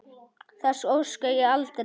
Þess óska ég aldrei.